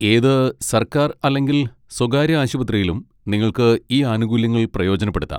ഏത് സർക്കാർ അല്ലെങ്കിൽ സ്വകാര്യ ആശുപത്രിയിലും നിങ്ങൾക്ക് ഈ ആനുകൂല്യങ്ങൾ പ്രയോജനപ്പെടുത്താം.